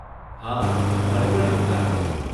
હા, મને પણ એવું જ લાગે છે.